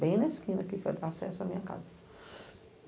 bem na esquina que foi acesso à minha casa.